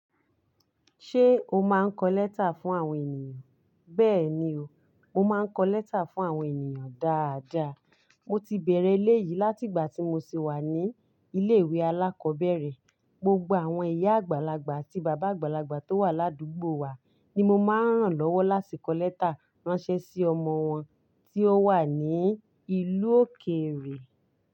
Ṣé o máa ń kọ lẹ́tà fún àwọn ènìyàn? Bẹ́ẹ̀ni o, mo máa ń kọ lẹ́tà fún àwọn ènìyàn dáadáa. Mo ti bèèrè eléyì láti ìgbà tí mo ti wà ní ilé ìwé alákọ̀ọ́bẹ̀rẹ̀ gbogbo àwọn ìyá àgbàlagbà àti bàbá àgbàlagbà tó wà ládùgbò wa ni mo máa ń ràn lọ́wọ́ láti kọ lẹ́tà ránṣẹ́ sí ọmọ wọn tí ó wà ní ìlú òkèèrè.